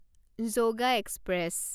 yoga express